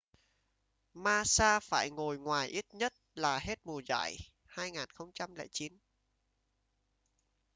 massa phải ngồi ngoài ít nhất là hết mùa giải 2009